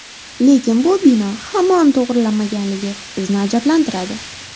Lekin bu bino hamon to‘g‘rilanmaganligi bizni ajablantiradi.